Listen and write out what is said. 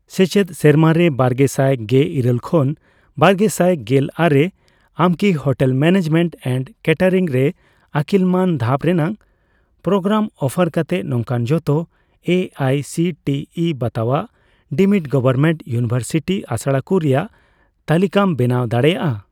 ᱥᱮᱪᱮᱫ ᱥᱮᱨᱢᱟᱨᱮ ᱵᱟᱨᱜᱮᱥᱟᱭ ᱜᱮᱤᱨᱟᱹᱞ ᱠᱷᱚᱱ ᱵᱟᱨᱜᱮᱥᱟᱭ ᱜᱮᱞ ᱟᱨᱮ ᱟᱢᱠᱤ ᱦᱳᱴᱮᱞ ᱢᱮᱱᱮᱡᱢᱮᱱᱴ ᱮᱱᱰ ᱠᱮᱴᱮᱨᱤᱝ ᱨᱮ ᱟᱹᱠᱤᱞ ᱢᱟᱱ ᱫᱷᱟᱯ ᱨᱮᱱᱟᱜ ᱯᱨᱳᱜᱨᱟᱢ ᱚᱯᱷᱟᱨ ᱠᱟᱛᱮ ᱱᱚᱝᱠᱟᱱ ᱡᱷᱚᱛᱚ A I C T E ᱵᱟᱛᱟᱣᱟᱜ ᱰᱤᱢᱰ ᱜᱚᱣᱚᱨᱢᱮᱱᱴ ᱤᱭᱩᱱᱤᱣᱮᱨᱥᱤᱴᱤ ᱟᱥᱲᱟᱠᱩ ᱨᱮᱭᱟᱜ ᱛᱟᱞᱤᱠᱟᱢ ᱵᱮᱱᱟᱣ ᱫᱟᱲᱮᱭᱟᱜᱼᱟ ?